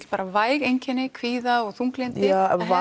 væg einkenni kvíða og þunglyndi